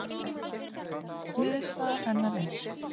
Niðurstaða hennar er: